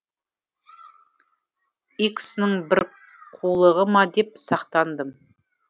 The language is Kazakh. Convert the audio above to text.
х ның бір қулығы ма деп сақтандым